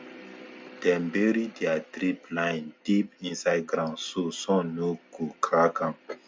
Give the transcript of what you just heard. dem bury their drip line deep inside ground so sun no go crack am